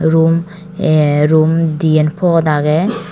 room ay room diyen pod agye.